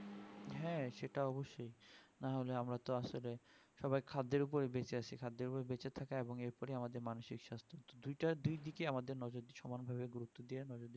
হ্যাঁ সেটা অবশ্যই আমরা তো আসলে সবাই খাদ্যের ওপরে বেঁচে আছি খাদ্যের ওপরে বেঁচে থাকা এর পরেই আমাদের মানসিক স্বাস্থ দুটা দুই দিকে আমাদের নজর সমান ভাবে গুরুপ্ত দেওয়া